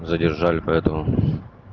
задержали поэтому